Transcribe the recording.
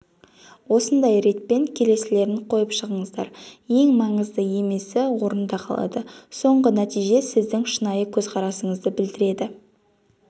осындай ретпен келесілерін қойып шығыңыздар ең маңызды емесі орында қалады соңғы нәтиже сіздің шынайы көзқарасыңызды білдіреді